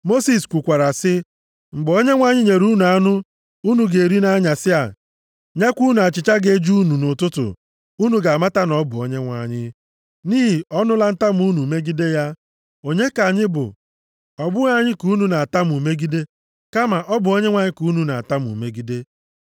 Mosis kwukwara sị, “Mgbe Onyenwe anyị nyere unu anụ unu ga-eri nʼanyasị a, nyekwa unu achịcha ga-eju unu nʼụtụtụ, unu ga-amata na ọ bụ Onyenwe anyị, nʼihi ọ nụla ntamu unu megide ya. Onye ka anyị bụ? Ọ bụghị anyị ka unu na-atamu megide kama ọ bụ Onyenwe anyị ka unu na-atamu megide.”